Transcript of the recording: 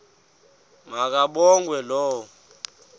ma kabongwe low